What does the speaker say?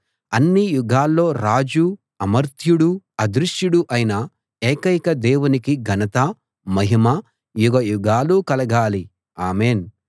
అన్ని యుగాల్లో రాజూ అమర్త్యుడూ అదృశ్యుడూ అయిన ఏకైక దేవునికి ఘనత మహిమ యుగయుగాలు కలగాలి ఆమేన్‌